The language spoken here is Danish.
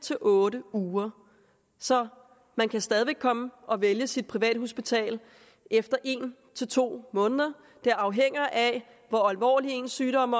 til otte uger så man kan stadig væk komme og vælge sit privathospital efter en til to måneder det afhænger af hvor alvorlig ens sygdom